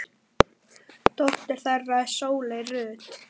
Dóttir þeirra er Sóley Rut.